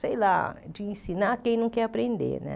sei lá, de ensinar quem não quer aprender, né?